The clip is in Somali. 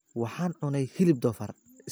Waxaan cunay hilib doofaar